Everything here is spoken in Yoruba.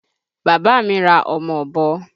Bàbá mi ra ọmọ Ọ̀bọ